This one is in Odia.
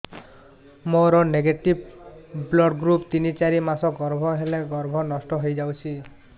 ମୋର ନେଗେଟିଭ ବ୍ଲଡ଼ ଗ୍ରୁପ ତିନ ଚାରି ମାସ ଗର୍ଭ ହେଲେ ଗର୍ଭ ନଷ୍ଟ ହେଇଯାଉଛି